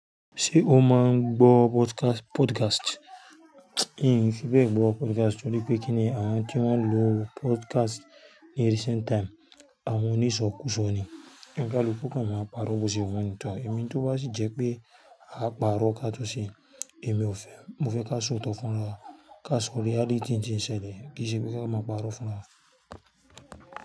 Ṣé o máa ń gbọ́ podcast? Podcast. N fi be ẹ gbọ́ podcast torí pé kíni àwọn tí wọ́n ń lo podcast ní recent time, àwọn oniṣòkùùsò ni. Oníkálukú kò ma máa parọ́ bo ṣe wọ́n nítan. Èmi tó bá sì jẹ́ pé a máa parọ́ ká tó ṣé, èmi ò fẹ́. Mo fẹ́ ká sọ̀tọ̀ fún ra wa, ká sọ̀rọ̀ reality tin ṣẹlẹ̀. Kì í ṣe pé ká máa parọ́ fún wa.